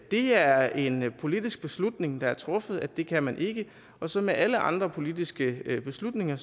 det er en politisk beslutning der er truffet om at det kan man ikke og som med alle andre politiske beslutninger